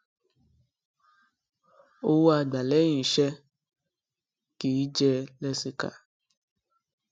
owó a gba lẹyìn iṣẹ kì í jẹ lẹsìkà